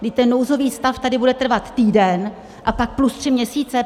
Vždyť ten nouzový stav tady bude trvat týden a pak plus tři měsíce.